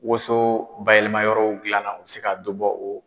Woso bayɛlɛma yɔrɔw gilanna u bɛ se ka dɔ bɔ o